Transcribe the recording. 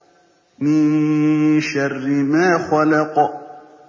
مِن شَرِّ مَا خَلَقَ